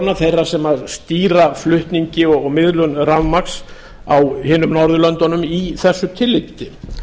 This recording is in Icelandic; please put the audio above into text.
kerfisstjóranna þeirra sem stýra flutningi og miðlun rafmagns á hinum norðurlöndunum í þessu tilliti